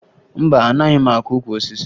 Mba, anaghị m akụ ukwu osisi